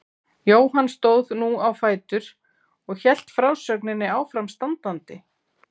Jóhann stóð nú á fætur og hélt frásögninni áfram standandi